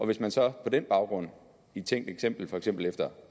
hvis man så på den baggrund i et tænkt eksempel for eksempel efter